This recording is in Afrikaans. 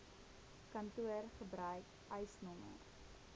kantoor gebruik eisnr